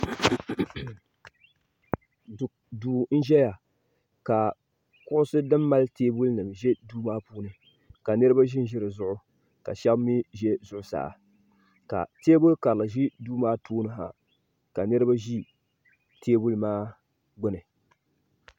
Duu n ʒɛya ka kuɣusi din mali teebuli za duu maa puuni ka niriba ʒi dizuɣu ka sheba mee ʒɛ zuɣusaa ka teebuli karili ʒɛ duu maa puuni ha ka niriba ʒi teebuli maa gbini.